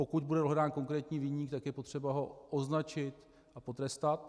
Pokud bude dohledán konkrétní viník, tak je potřeba ho označit a potrestat.